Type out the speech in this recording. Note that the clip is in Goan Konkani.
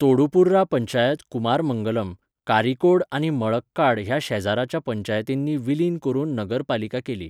तोडुपुर्रा पंचायत कुमारमंगलम, कारिकोड आनी मळक्काड ह्या शेजराच्या पंचायतींनी विलीन करून नगरपालिका केली.